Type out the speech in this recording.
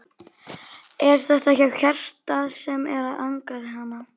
Er þetta þá hjartað sem er að angra hana?